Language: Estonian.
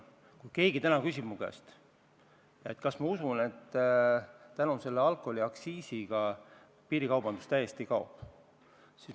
Usutavasti keegi ei küsi mu käest täna, kas ma usun, et tänu alkoholiaktsiiside muutmisele piirikaubandus täiesti kaob.